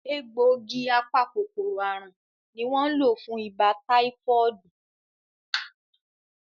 Egbògi apa-kòkòrò àrùn ní won lọ fún ibà táífọ́ọ̀dù